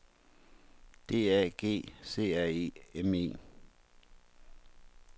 D A G C R E M E